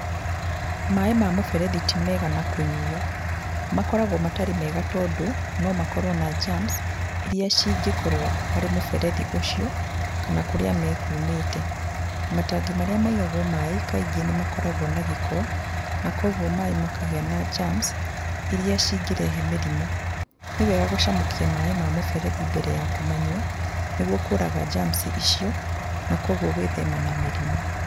Maaĩ ma mũberethi ti mega na kũnyuo. Makoragwo matarĩ mega tondũ no makorwo na germs iria cingĩkorwo harĩ mũberethi ũcio kana kũrĩa mekumĩte. Matangi marĩa maigagwo maaĩ kaingĩ nĩ makoragwo na gĩko, na koguo maaĩ makagĩa na germs iria cingĩrehe mĩrimũ. Nĩ wega gũcamũkia maaĩ ma mũberethi mbere ya kũmanyua, nĩguo kũraga germs icio na koguo gwĩthema na mĩrimũ.